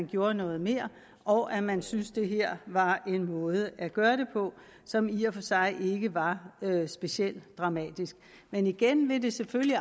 gjort noget mere og at man syntes at det her var en måde at gøre det på som i og for sig ikke var specielt dramatisk men igen vil det selvfølgelig